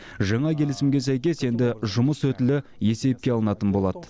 жаңа келісімге сәйкес енді жұмыс өтілі есепке алынатын болады